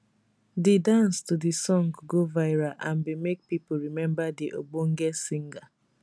di dance to di song go viral and bin make pipo remember di ogbonge singer